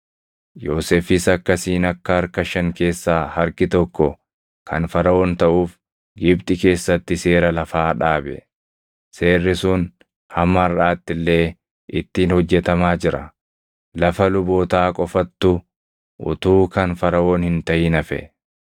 Yoosefis akkasiin akka harka shan keessaa harki tokko kan Faraʼoon taʼuuf Gibxi keessatti seera lafaa dhaabe; seerri sun hamma harʼaatti illee ittiin hojjetamaa jira. Lafa lubootaa qofattu utuu kan Faraʼoon hin taʼin hafe.